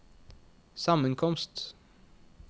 sammenkomst